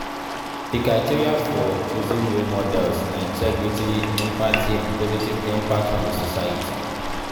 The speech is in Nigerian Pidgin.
di criteria for choosing role models na integrity, empathy and positive impact on di society.